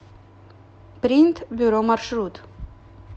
принт бюро маршрут